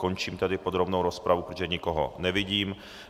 Končím tedy podrobnou rozpravu, protože nikoho nevidím.